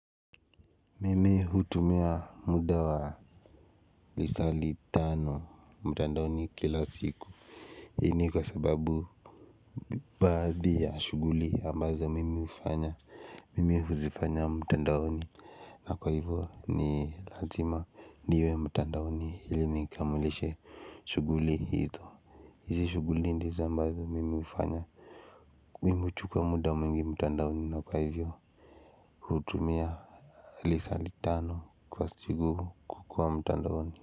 Mimi hutumia muda wa lisali tano mtandaoni kila siku hii ni kwa sababu baadhi ya shughuli ambazo mimi hufanya mimi huzifanya mtandaoni na kwa hivyo ni lazima niwe mtandaoni ili nikamilishe shughuli hizo izi shughuli ndizo ambazo mimi hufanya mimi huchukua muda mwingi mtandaoni na kwa hivyo hutumia lisali tano kwa siku kukua mtandaoni.